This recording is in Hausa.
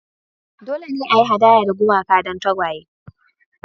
Dole ne a yi hadaya ga gumaka don tagwaye